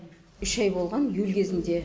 үш ай болған июль кезінде